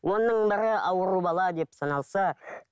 оның бірі ауру бала деп саналса